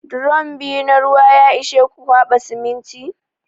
Drom biyu na ruwa ya ishe ku kwaɓa siminti?